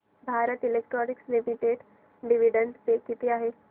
Bharat electronics limited dividend pay किती आहे